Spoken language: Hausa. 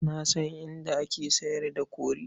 Na san inda ake sayar da kori.